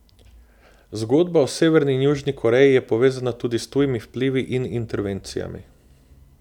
Zgodba o Severni in Južni Koreji je povezana tudi s tujimi vplivi in intervencijami.